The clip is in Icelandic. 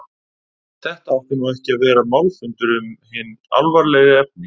Þetta átti nú ekki að vera málfundur um hin alvarlegri efni.